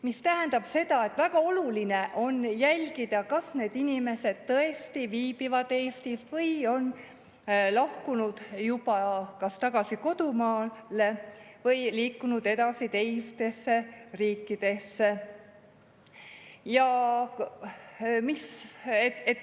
Mis tähendab seda, et väga oluline on jälgida, kas need inimesed tõesti viibivad Eestis või on lahkunud juba kas tagasi kodumaale või liikunud edasi teistesse riikidesse.